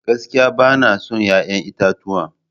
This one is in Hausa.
Gaskiya bana son 'ya'yan itatuwa.